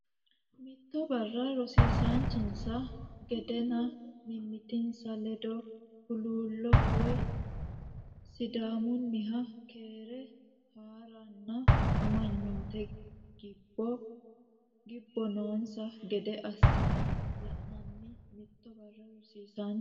Mitto barra rosiisaanchinsa gedenna mimmitinsa ledo huluullo woy Sidaamunniha keere haa nanni amanyoote gibbo noonsa gede assine la nanni Mitto barra rosiisaanchinsa.